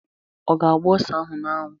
Ọ ga-agba ose ahụ n'anwụ?